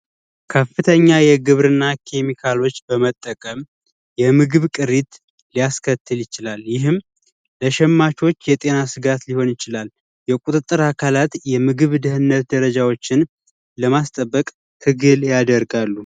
ከፍተኛ የግብርናዎች በመጠቀም የምግብ ቅሪት ሊያስከትል ይችላል ይህም ለሸማቾች የጤና ጋት ሊሆን ይችላል የቁጥጥር አካላት የምግብ ድህነት ደረጃዎችን ለማስጠበቅ ትግል ያደርጋሉ